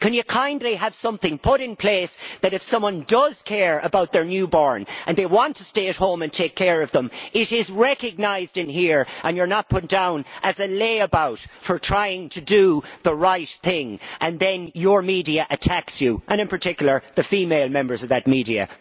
Can you kindly have something put in place so that, if someone does care about their newborn and they want to stay at home and take care of them, it is recognised in here and you are not put down as a layabout for trying to do the right thing, and then your media attacks you, and in particular the female members of that media.